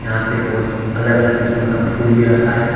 यहां पे बहुत अलग अलग किसीम का फूल भी रखा है।